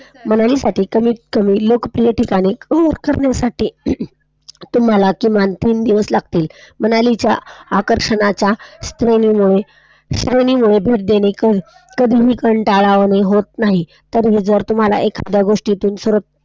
तुम्हला किमान तीन दिवस लागतील, मनालीच्या आकर्षणाच्या श्रेणी मुळे, कधीही कंटाळवाणे होत नाही तरीही जर तुम्हला एखाद्या गोष्टीचे,